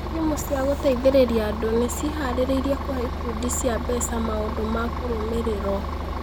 Timu cia gũteithĩrĩria andũ nĩ ciĩhaarĩirie kũhe ikundi cia mbeca maũndũ ma kũrũmĩrĩrũo